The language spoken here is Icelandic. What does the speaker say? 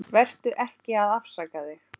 Vertu ekki að afsaka þig.